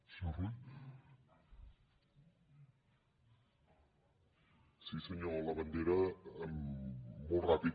sí senyor labandera molt ràpid